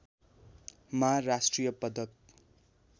मा राष्ट्रिय पदक